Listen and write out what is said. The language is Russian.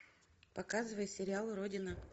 показывай сериал родина